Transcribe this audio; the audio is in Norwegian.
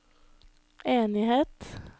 enighet